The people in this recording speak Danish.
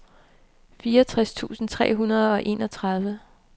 fireogtres tusind tre hundrede og enogtredive